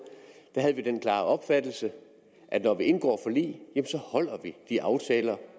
havde vi den klare opfattelse at når vi indgår forlig så holder vi de aftaler